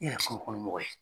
E yɛrɛ mɔgɔ